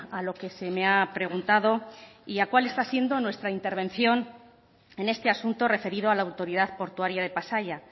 a lo que se me ha preguntado y cuál está siendo nuestra intervención en este asunto referido a la autoridad portuaria de pasaia